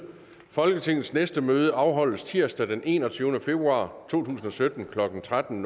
folketingets næste møde afholdes tirsdag den enogtyvende februar to tusind og sytten klokken tretten